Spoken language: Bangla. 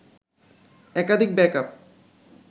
একাধিক ব্যাকআপ